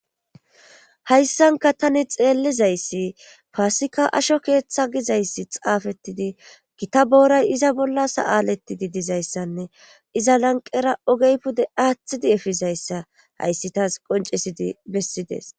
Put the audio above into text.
hayssanka tani xeellizayssi paasika asho keeththa gizayssi xaafettidi gita booray iza bolla sa7aalettidi dizayssanne iza lanqera ogey pude aaththidi efizayssa hayssi taas qoncisidi bessides